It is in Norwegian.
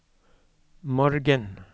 morgen